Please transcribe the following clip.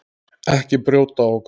Ekki brjóta á okkur.